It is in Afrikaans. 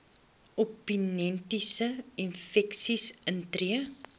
opportunistiese infeksies intree